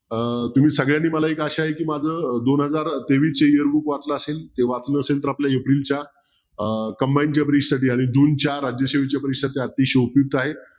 अं तुम्ही सगळ्यांनी मला एक अशा आहे की दोन हजार तेवीसच book वाचलं असेल ते वाचलं असेल तर आपलं एप्रिलच्या combine study आणि जूनच्या राजकीय परीक्षेत ते अतिशय उपयुक्त आहे